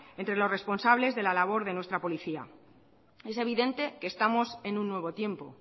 entre los responsables de la labora de nuestra policía es evidente que estamos en un nuevo tiempo